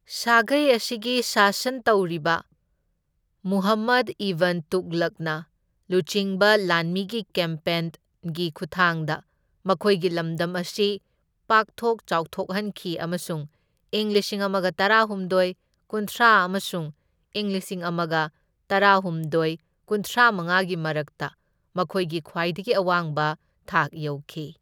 ꯁꯥꯒꯩ ꯑꯁꯤꯒꯤ ꯁꯥꯁꯟ ꯇꯧꯔꯤꯕ ꯃꯨꯍꯝꯃꯗ ꯏꯕꯟ ꯇꯨꯘꯂꯨꯛꯅ ꯂꯨꯆꯤꯡꯕ ꯂꯥꯟꯃꯤꯒꯤ ꯀꯦꯝꯄꯦꯟꯒꯤ ꯈꯨꯠꯊꯥꯡꯗ ꯃꯈꯣꯏꯒꯤ ꯂꯝꯗꯝ ꯑꯁꯤ ꯄꯥꯛꯊꯣꯛ ꯆꯥꯎꯊꯣꯛꯍꯟꯈꯤ, ꯑꯃꯁꯨꯡ ꯢꯪ ꯂꯤꯁꯤꯡ ꯑꯃꯒ ꯇꯔꯥꯍꯨꯝꯗꯣꯢ ꯀꯨꯟꯊ꯭ꯔꯥ ꯑꯃꯁꯨꯡ ꯢꯪ ꯂꯤꯁꯤꯡ ꯑꯃꯒ ꯇꯔꯥꯍꯨꯝꯗꯣꯢ ꯀꯨꯟꯊ꯭ꯔꯥꯃꯉꯥꯒꯤ ꯃꯔꯛꯇ ꯃꯈꯣꯏꯒꯤ ꯈ꯭ꯋꯥꯏꯗꯒꯤ ꯑꯋꯥꯡꯕ ꯊꯥꯛ ꯌꯧꯈꯤ꯫